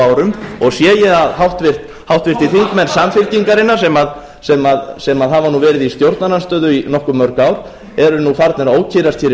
árum sé ég að háttvirtir þingmenn samfylkingarinnar sem hafa nú verið í stjórnarandstöðu í nokkuð mörg ár eru nú farnir að ókyrrast hér í